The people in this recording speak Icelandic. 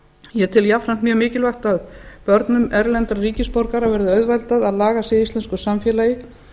ég tel jafnframt mjög mikilvægt að börnum erlendra ríkisborgara verði auðveldað að laga sig að íslensk samfélagi